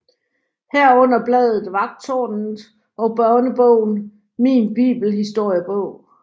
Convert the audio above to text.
Herunder bladet Vagttårnet og børnebogen Min Bibelhistoriebog